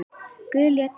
Guð lét mig þar.